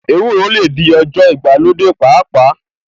Ewúro lè di ọjọ́ ìgbàlódé pàápàá